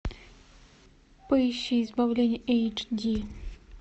поищи избавление эйч ди